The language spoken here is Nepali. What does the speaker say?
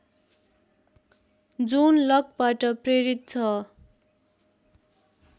जोन लकबाट प्रेरित छ